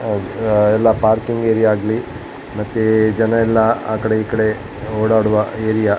ಆಹ್ಹ್ ಎಲ್ಲ parking area ಆಗ್ಲಿ ಮತ್ತೆ ಜನ ಎಲ್ಲ ಆ ಕಡೆ ಈ ಕಡೆ ಓಡಾಡುವ ಏರಿಯಾ .